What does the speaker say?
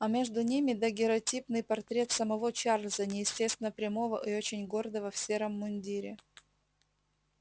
а между ними дагерротипный портрет самого чарльза неестественно прямого и очень гордого в сером мундире